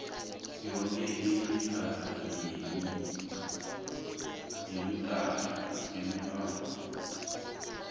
yoke imikhakha emithathu